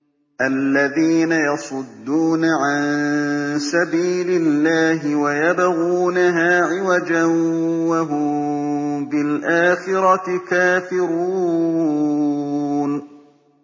الَّذِينَ يَصُدُّونَ عَن سَبِيلِ اللَّهِ وَيَبْغُونَهَا عِوَجًا وَهُم بِالْآخِرَةِ كَافِرُونَ